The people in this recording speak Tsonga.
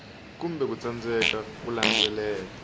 kumbe ku tsandzeka ku landzelela